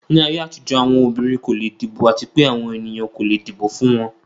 Ni ayé àtijọ́, àwọn obìnrin kò leè dìbò àti pé àwọn ènìyàn kò le dìbò fún wọn.